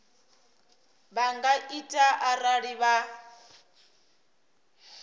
vha nga ita arali vha